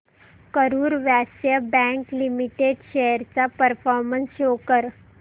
Karur Vysya bank limited shares चा performance show कर